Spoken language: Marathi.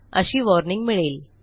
अशी वॉर्निंग मिळेल